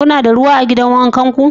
Kuna da ruwa a gidan wanka ku?